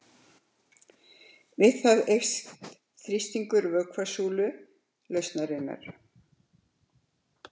Við það eykst þrýstingur vökvasúlu lausnarinnar.